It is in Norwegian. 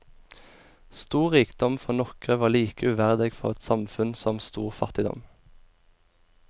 Stor rikdom for nokre var like uverdig for eit samfunn som stor fattigdom.